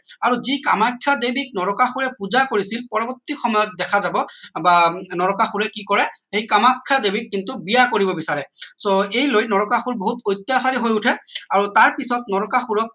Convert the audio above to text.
আৰু যি কামাখ্যা দেৱীক নৰকাসুৰে পূজা কৰিছিল পৰবৰ্তী সময়ত দেখা যাব বা নৰকাসুৰে কি কৰে সেই কামাখ্যা দেৱীক কিন্তু বিয়া কৰিব বিচাৰে so এই লৈ নৰকাসুৰ বহুত প্ৰত্যাসাৰি হৈ উঠে আৰু তাৰ পিছত নৰকাসুৰক